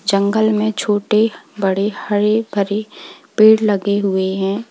जंगल में छोटे बड़े हरे भरे पेड़ गये हुए हैं।